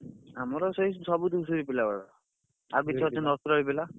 ଆମର ସେଇ ସବୁ ଧୂସୁରୀ ପିଲା ଗୁଡାକ ଆଉ ପିଲା।